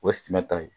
O ye suman ta ye